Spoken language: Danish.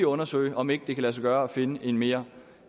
undersøge om ikke det kan lade sig gøre at finde en mere